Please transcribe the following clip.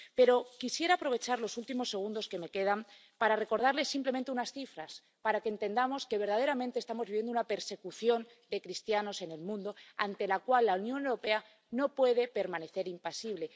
Pero quisiera aprovechar los últimos segundos que me quedan para recordarles simplemente unas cifras, para que entendamos que verdaderamente estamos viviendo una persecución de cristianos en el mundo, ante la cual la Unión Europea no puede permanecer impasible.